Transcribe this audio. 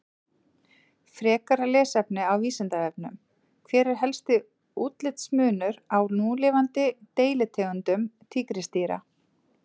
Frekara lesefni á Vísindavefnum: Hver er helsti útlitsmunur á núlifandi deilitegundum tígrisdýra?